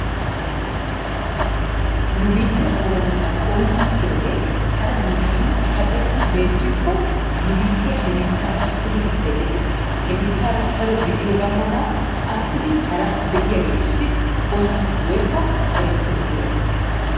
Nu biittee oonatettaa qonccissiyaage hara biittatun kaqetti beettikko nu biittiyaa he biitteera issippetettay dees. He biittaara saro gidiyoga mala aattidi hara be'iyagetussi qonccisees woykko erssees giyoogaa.